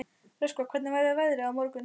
Röskva, hvernig verður veðrið á morgun?